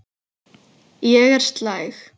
Ég er slæg.